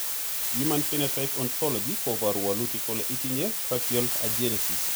human Phenotype Ontology koporu wolutik kole itinye Tracheal agenesis.